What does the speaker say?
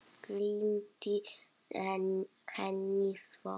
Gleymdi henni svo.